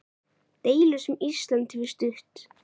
Deilu sem Ísland hefur stutt.